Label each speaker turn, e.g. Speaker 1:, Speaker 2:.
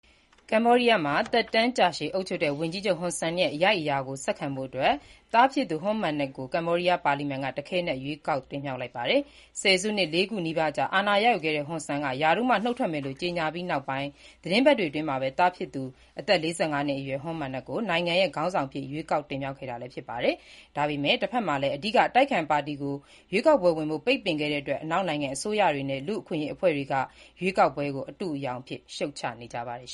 Speaker 1: ကမ္ဘောဒီးယားမှာ သက်တမ်းကြာရှည် အုပ်ချုပ်ခဲ့တဲ့ ဝန်ကြီးချုပ်ဟွန်ဆန်ရဲ့ အရိုက်အရာကို ဆက်ခံဖို့အတွက် သားဖြစ်သူ ဟွန်မာနက်ကို ကမ္ဘောဒီးယားပါလီမန်က တခဲနက် ရွေးကောက်တင်မြှောက်လိုက်ပါတယ်။ ဆယ်စုနှစ် ၄ ခုနီးပါး အာဏာရယူခဲ့တဲ့ ဟွန်ဆန်က ရာထူးမှ နုတ်ထွက်မယ်လို့ ကြေညာပြီးနောက်ပိုင်း သီတင်းပတ်တွေအတွင်းမှာပဲ သားဖြစ်သူ အသက် ၄၅ နှစ်အရွယ် Hun Manet ကို နိုင်ငံရဲ့ ခေါင်းဆောင်အဖြစ် ရွေးကောက်တင်မြှောက်ခဲ့တာလည်း ဖြစ်ပါတယ်။ ဒါပေမဲ့ တဘက်မှာလည်း အဓိက အတိုက်အခံပါတီကို ရွေးကောက်ပွဲဝင်ဖို့ ပိတ်ပင်ခဲ့တဲ့အတွက် အနောက်နိုင်ငံအစိုးရတွေနဲ့ လူ့အခွင့်အရေးအဖွဲ့တွေက ရွေးကောက်ပွဲကို အတုအယောင်အဖြစ် ရှုတ်ချနေကြပါတယ်